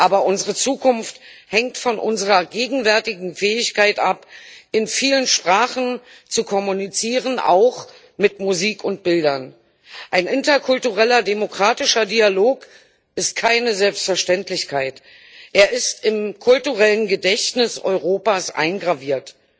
Aber unsere Zukunft hängt von unserer gegenwärtigen Fähigkeit ab, in vielen Sprachen zu kommunizieren, auch mit Musik und Bildern. Ein interkultureller demokratischer Dialog ist keine Selbstverständlichkeit, er ist im kulturellen Gedächtnis Europas eingraviert.